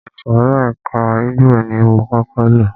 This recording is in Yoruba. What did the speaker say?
Ìsòrí ẹka ẹ̀kọ́ igbó ni mo kọ́kọ́ lọ.